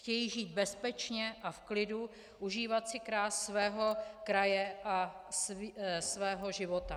Chtějí žít bezpečně a v klidu, užívat si krás svého kraje a svého života.